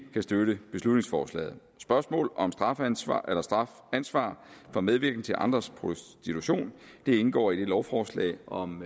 kan støtte beslutningsforslaget spørgsmål om strafansvar for medvirken til andres prostitution indgår i det lovforslag om